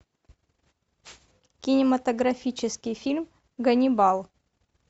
кинематографический фильм ганнибал